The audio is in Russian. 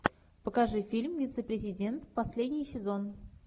покажи фильм вице президент последний сезон